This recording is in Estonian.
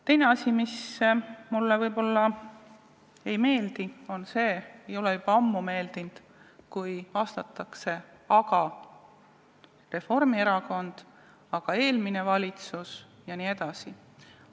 Teine asi, mis mulle ei meeldi ega ole juba ammu meeldinud, on see, kui vastatakse, et aga Reformierakond, et aga eelmine valitsus jne.